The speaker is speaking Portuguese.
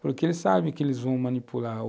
porque eles sabem que eles vão manipular.